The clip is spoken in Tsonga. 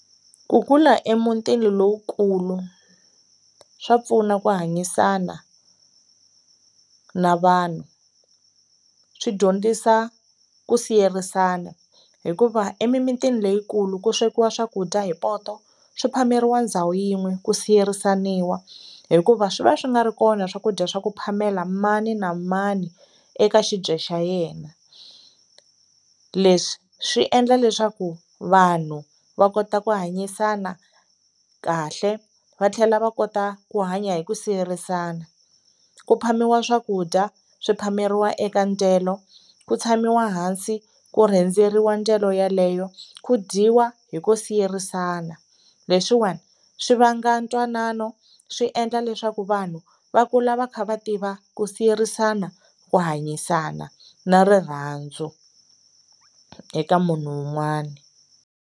Ku kula emutini lowukulu swa pfuna ku hanyisana na vanhu, swi dyondzisa ku siyerisana hikuva emimitini leyikulu ku swekiwa swakudya hi poto swi phameriwa ndhawu yin'we ku siyerisaniwa hikuva swi va swi nga ri kona swakudya swa ku phamela mani na mani eka xibye xa yena. Leswi swi endla leswaku vanhu va kota ku hanyisana kahle va tlhela va kota ku hanya hi ku siyerisana, ku phamiwa swakudya swi phameriwa eka dyelo ku tshamiwa hansi ku rendzeriwa dyelo yeleyo ku dyiwa hi ku siyerisana. Leswiwani swi vanga ntwanano swi endla leswaku vanhu va kula va kha va tiva ku siyerisana, ku hanyisana na rirhandzu eka munhu wun'wana.